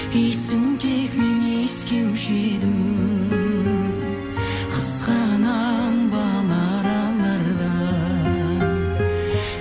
иісін тек мен иіскеуші едім қызғанамын бал аралардан